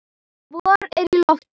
Vor er í lofti.